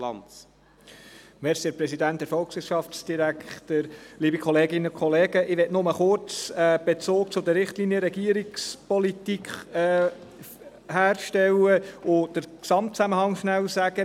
Ich möchte nur kurz einen Bezug zu den Richtlinien der Regierungspolitik herstellen und den Gesamtzusammenhang darlegen.